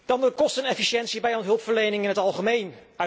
Dan de kostenefficiëntie bij hulpverlening in het algemeen.